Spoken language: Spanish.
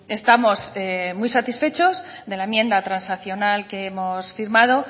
estamos muy satisfechos de la enmienda transaccional que hemos firmado